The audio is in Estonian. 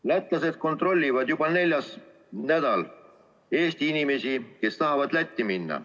Lätlased kontrollivad juba neljandat nädalat Eesti inimesi, kes tahavad Lätti minna.